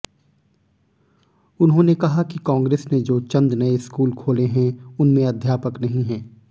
उन्होंने कहा कि कांग्रेस ने जो चंद नए स्कूल खोले हैं उनमें अध्यापक नहीं हैं